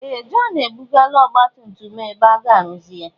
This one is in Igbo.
Ee! Jọn ebugala ọgbatumtum a ebe aga arụzi ya.